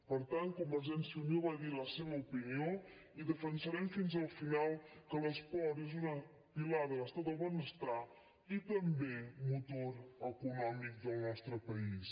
per tant convergència i unió va dir la seva opinió i defensarem fins al final que l’esport és un pilar de l’estat del benestar i també motor econòmic del nostre país